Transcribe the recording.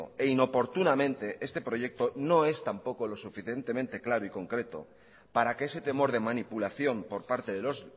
e inoportunamente este proyecto no es tampoco lo suficientemente claro y concreto para que ese temor de manipulación por parte de los